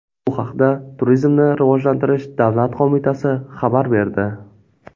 Bu haqda Turizmni rivojlantirish davlat qo‘mitasi xabar berdi .